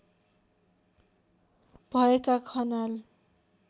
भएका खनाल